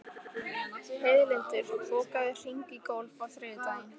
Heiðlindur, bókaðu hring í golf á þriðjudaginn.